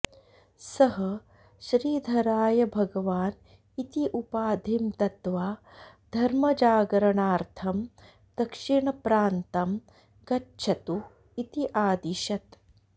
सः श्रीधराय भगवान् इति उपाधिं दत्त्वा धर्मजागरणार्थं दक्षिणप्रान्तं गच्छतु इति आदिशत्